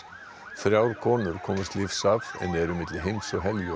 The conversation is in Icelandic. þrjár konur komust lífs af en eru milli heims og